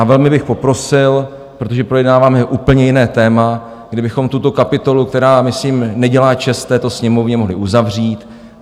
A velmi bych poprosil, protože projednáváme úplně jiné téma, kdybychom tuto kapitolu, která myslím nedělá čest této Sněmovně, mohli uzavřít.